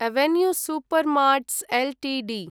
avenue Supermarts Ltd